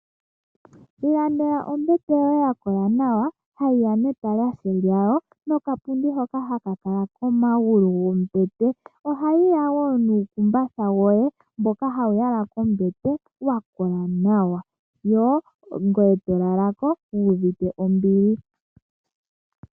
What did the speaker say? Ilandela ombete yoye ya kola nawa, hayi ya netalahe lyawo, nokapundi hoka haka kala komagulu gombete. Ohayi ya wo nomakumbatha goye, ngoka haga yalwa kombete, ga kola nawa. Ngoye tolala ko wu uvite ombili.